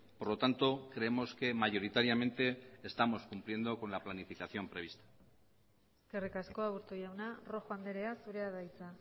por lo tanto creemos que mayoritariamente estamos cumpliendo con la planificación prevista eskerrik asko aburto jauna rojo andrea zurea da hitza